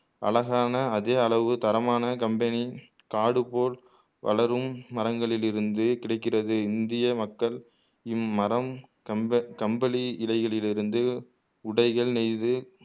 அழகான அதே அளவு தரமான கம்பளி காடு போல் வளரும் மரங்களில் இருந்து கிடைக்கிறது இந்திய மக்கள் இம்மரம் கம்ப கம்பளி இழைகளில் இருந்து உடைகள் நெய்து